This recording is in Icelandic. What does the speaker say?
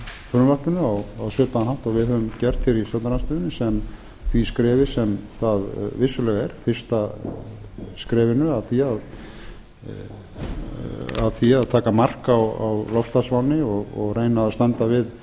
frumvarpinu á svipaðan hátt og við höfum gert hér í stjórnarandstöðunni sem því skrefi sem það vissulega er fyrsta skrefinu að því að taka mark á loftslagsvánni og reyna að standa við